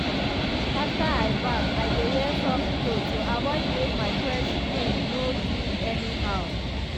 after i baff i dey wear soft cloth to avoid make my fresh clean skin no do anyhow.